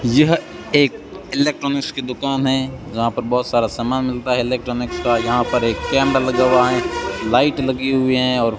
यह एक इलेक्ट्रॉनिकस की दुकान है जहां पर बहोत सारा सामान मिलता है इलेक्ट्रॉनिक्स का यहां पर एक कैमरा लगा हुआ है लाइट लगी हुई है और --